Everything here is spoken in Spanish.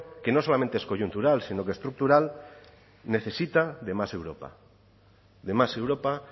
que no solamente es coyuntural sino estructural necesita de más europa de más europa